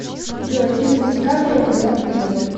джой фильм с дикаприо где он пьет